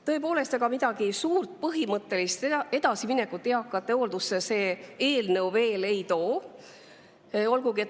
Tõepoolest, ega suurt ja põhimõttelist edasiminekut see eelnõu eakate hooldusse veel ei too.